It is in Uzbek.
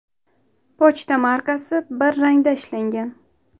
Pochta markasi bir rangda ishlangan.